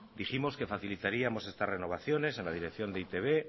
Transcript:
dijimos que facilitaríamos estas renovaciones en la dirección de e i te be